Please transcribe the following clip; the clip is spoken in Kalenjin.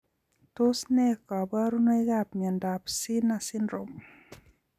Tos ne kaborunoikab miondop sener syndrome.